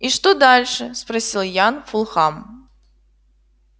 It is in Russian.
и что дальше спросил ян фулхам